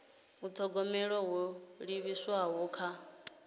u thogomela ho livhiswaho kha